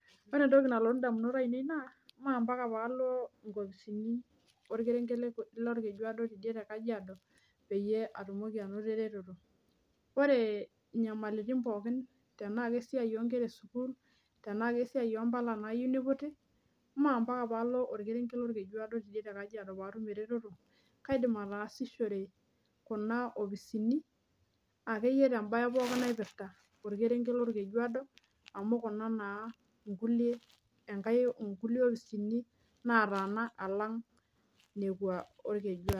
Ore entoki nalotu indamunot ainei naa naa ampaka paalo inkopisini orkerenget lorkejuado tidie te kajiado peyie atumoki anoto ereteto ore inyamalitin pookin tenaa kesiai onkera esukul tenaa kesiai ompala nayieu niputi maa ampaka paalo orkerenget lorkejuado tiidie te kajiado paatum eretoto kaidim ataasishore kuna opisini akeyie tembaye pookin naipirta orkerenget lorkejuado amu kuna naa inkulie enkae inkulie opisini nataana alang nekua orkejuado.